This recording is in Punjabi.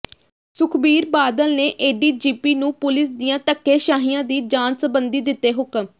ਸੁਖਬੀਰ ਬਾਦਲ ਨੇ ਏਡੀਜੀਪੀ ਨੂੰ ਪੁਲੀਸ ਦੀਆਂ ਧੱਕੇਸ਼ਾਹੀਆਂ ਦੀ ਜਾਂਚ ਸਬੰਧੀ ਦਿੱਤੇ ਹੁਕਮ